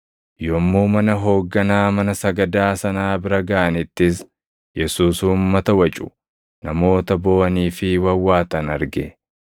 Yommuu mana hoogganaa mana sagadaa sanaa bira gaʼanittis Yesuus uummata wacu, namoota booʼanii fi wawwaatan arge.